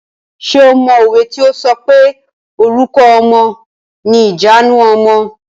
Ṣé o mọ òwe tí o sọ pé "Orúkọ ọmọ ni ìjanu ọmọ".